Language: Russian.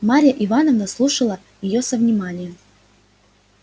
марья ивановна слушала её со вниманием